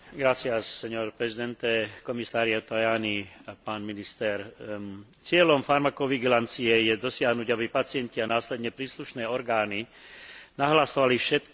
Cieľom farmakovigilancie je dosiahnuť, aby pacienti a následne príslušné orgány nahlasovali všetky, a to nielen vážne nežiaduce účinky do databázy EudraVigilance.